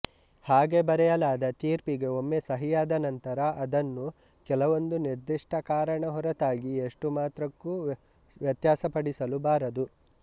ಹಾಗೆ ಬರೆಯಲಾದ ತೀರ್ಪಿಗೆ ಒಮ್ಮೆ ಸಹಿಯಾದ ನಂತರ ಅದನ್ನು ಕೆಲವೊಂದು ನಿರ್ದಿಷ್ಟ ಕಾರಣ ಹೊರತಾಗಿ ಎಷ್ಟು ಮಾತ್ರಕ್ಕೂ ವ್ಯತ್ಯಾಸಪಡಿಸಲು ಬಾರದು